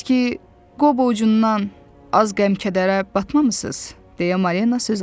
Siz ki Qobo ucundan az qəm-kədərə batmamısız, deyə Marina söz atdı.